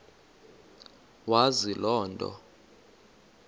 wazi loo nto